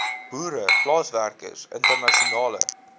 boere plaaswerkers internasionale